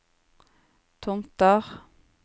Tomter